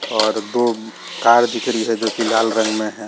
और दो तार है जो लाल रंग में है।